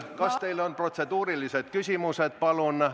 Kas teil on protseduurilised küsimused?